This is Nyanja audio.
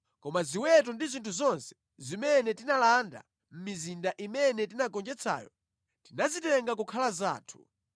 Koma ziweto ndi zinthu zonse zimene tinalanda mʼmizinda imene tinagonjetsayo, tinazitenga kukhala zathu.